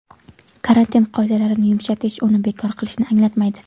Karantin qoidalarini yumshatish uni bekor qilishni anglatmaydi.